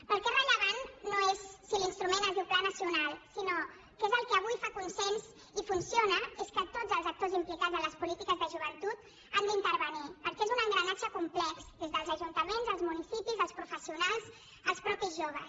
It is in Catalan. però el que és rellevant no és si l’instrument es diu pla nacional sinó que el que avui fa consens i funciona és que tots els actors implicats en les polítiques de joventut hi han d’intervenir perquè és un engranatge complex des dels ajuntaments als municipis als professionals als mateixos joves